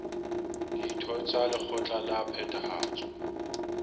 ditho tsa lekgotla la phethahatso